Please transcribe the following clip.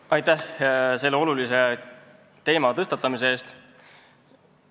Aitäh selle olulise teema tõstatamise eest!